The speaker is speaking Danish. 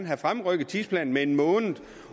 have fremrykket tidsplanen med en måned